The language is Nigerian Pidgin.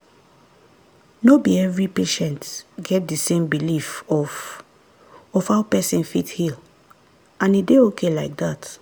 no be every patient get the same belief of of how person fit heal and e dey ok like dat.